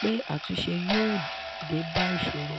pé àtúnṣe yóò dé bá ìṣòro.